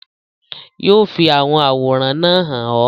yóò fi àwọn àwòrán náà hàn ọ́.